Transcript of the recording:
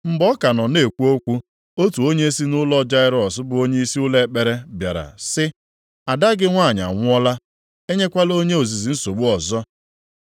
Mgbe ọ ka nọ na-ekwu okwu, otu onye si nʼụlọ Jairọs bụ onyeisi ụlọ ekpere, bịara sị, “Ada gị nwanyị anwụọla, enyekwala onye ozizi nsogbu ọzọ.”